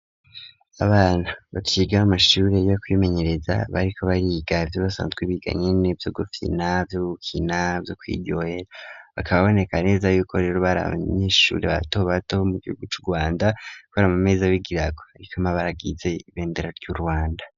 Abana baciga mu mamashuri yo kwimenyereza ,bariko bariga ivyo basanzwe Biga nyene, vyo gufina, vyobakina yo kwiga, bakaba boneka neza y'uko rero bari abanyeshuri bato bato bo mu gihugu c'u rwanda, kubera mu meza bigirago hariko amabaragize ibendera ry'u rwanda.